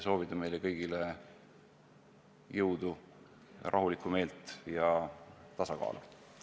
Soovin meile kõigile jõudu, rahulikku meelt ja tasakaalu!